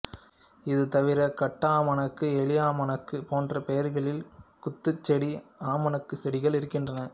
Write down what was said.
இது தவிர காட்டாமணக்கு எலியாமணக்கு போன்ற பெயர்களில் குத்துச்செடி ஆமணக்குச் செடிகள் இருக்கின்றன